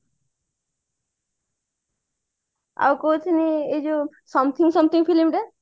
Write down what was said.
ଆଉ କହୁଛି ମୁଁ ଯୋଉ something something film ଟା